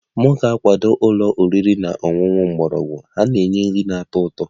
M ga-akwado ụlọ oriri na ọṅụṅụ mgbọrọgwụ, ha na-enye nri na-atọ ụtọ